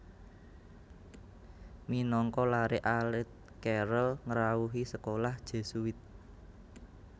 Minangka laré alit Carrel ngrawuhi sekolah Jesuit